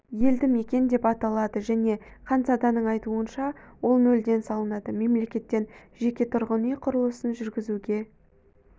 елді мекен деп аталады және ханзаданың айтуынша ол нөлден салынады мемлекеттен жеке тұрғын үй құрылысын жүргізуге